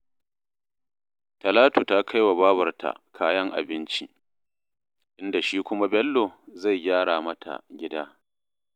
Talatu ta kai wa babarta kayan abinci, inda shi kuma Bello zai gyara mata gida